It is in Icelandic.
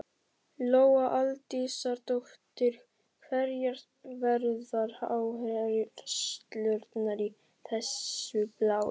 Lóa Aldísardóttir: Hverjar verða áherslurnar í þessu blaði?